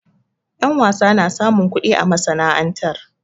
Ƴa wasa na samun kuɗi a masana'antar.